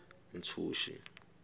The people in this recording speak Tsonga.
ntshuxi